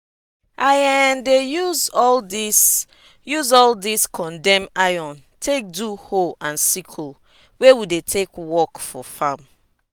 i um dey use all dis use all dis condemn iron take do hoe and sickle wey we dey take work for farm.